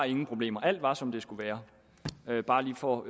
ingen problemer alt var som det skulle være bare lige for